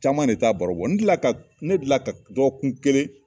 Caman de t'a baro bɔ n deli la ka ne deli la ka dɔgɔkun kelen.